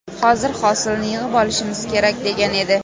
Hozir hosilni yig‘ib olishimiz kerak!” degan edi.